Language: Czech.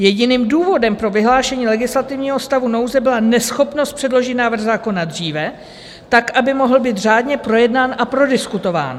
Jediným důvodem pro vyhlášení legislativního stavu nouze byla neschopnost předložit návrh zákona dříve, tak aby mohl být řádně projednán a prodiskutován.